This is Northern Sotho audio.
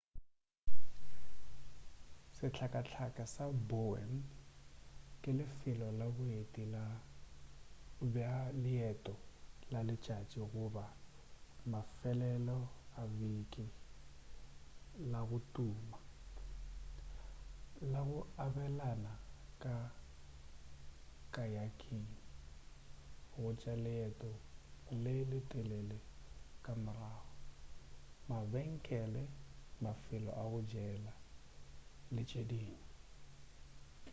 sehlakahlaka sa bowen ke lefelo la boeti ba leeto la letšatši goba mafelelo a beke lago tuma la go abelana ka kayaking go tšea leeto le le telele ka maoto mabenkele mafelo a go jela le tše dingwe